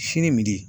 Sini midi